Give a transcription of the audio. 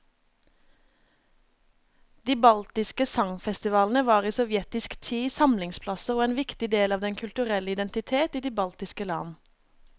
De baltiske sangfestivalene var i sovjetisk tid samlingsplasser og en viktig del av den kulturelle identitet i de baltiske land.